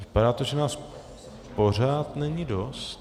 Vypadá to, že nás pořád není dost.